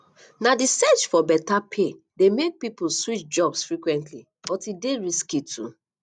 na di search for beta pay dey make pipo switch jobs frequently but e dey risky too